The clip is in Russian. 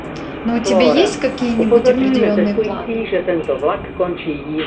но у тебя есть какие-нибудь определённые планы